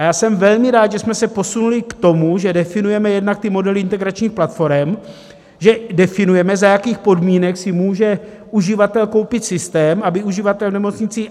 A já jsem velmi rád, že jsme se posunuli k tomu, že definujeme jednak ty modely integračních platforem, že definujeme, za jakých podmínek si může uživatel koupit systém, aby uživatel v nemocnici